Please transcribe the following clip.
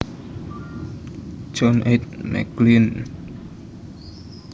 John H McGlynn